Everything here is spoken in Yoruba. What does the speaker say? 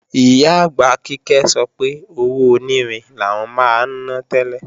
Ìyá-àgbà Kíkẹ́ sọ pé owó onírin làwọn máa ná tẹ́lẹ̀